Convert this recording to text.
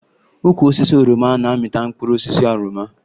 Ukwu osisi oroma na-amịta mkpụrụ osisi oroma